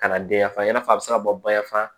Kana den ya fa i n'a fɔ a bɛ se ka bɔ bayanfa